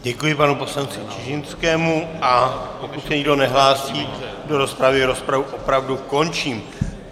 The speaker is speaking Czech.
Děkuji panu poslanci Čižinskému, a pokud se nikdo nehlásí do rozpravy, rozpravu opravdu končím.